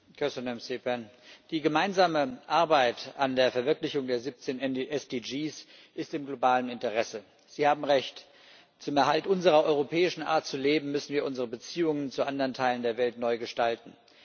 Frau Präsidentin! Die gemeinsame Arbeit an der Verwirklichung der 17 SDGs ist im globalen Interesse, Sie haben Recht. Zum Erhalt unserer europäischen Art zu leben müssen wir unsere Beziehungen zu anderen Teilen der Welt neu gestalten.